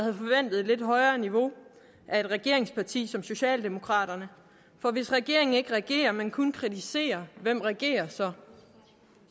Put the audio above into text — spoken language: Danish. at et lidt højere niveau af et regeringsparti som socialdemokraterne for hvis regeringen ikke regerer men kun kritiserer hvem regerer så